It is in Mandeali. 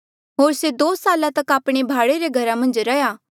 होर से दो साल तक आपणे भाड़े रे घरा मन्झ रैंहयां